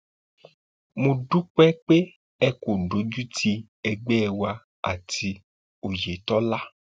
mo dúpẹ pé ẹ kò dojútì ẹgbẹ wa àti òyetòlá